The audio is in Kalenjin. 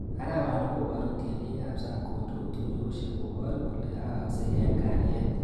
Arawani koboru tienikab sang kondou tuiyosiek kobor kole aaksei eng kalyet